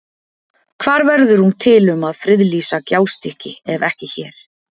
Hvar verður hún til um að friðlýsa Gjástykki ef ekki hér?